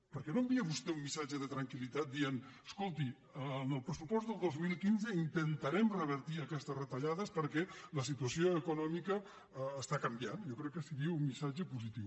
per què no envia vostè un missatge de tranquil·litat dient escolti en el pressupost del dos mil quinze intentarem revertir aquestes retallades perquè la situació econòmica està canviant jo crec que seria un missatge positiu